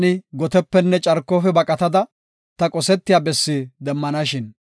Taani gotepenne carkofe baqatada, ta qosetiya bessi demmanashin.